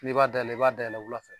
N'i b'a dayɛlɛ, i b'a dayɛlɛ wula fɛ.